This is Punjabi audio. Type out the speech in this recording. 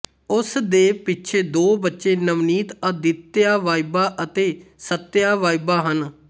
ਉਸਦੇ ਪਿੱਛੇ ਦੋ ਬੱਚੇ ਨਵਨੀਤ ਆਦਿਤਿਆ ਵਾਈਬਾ ਅਤੇ ਸੱਤਿਆ ਵਾਈਬਾ ਹਨ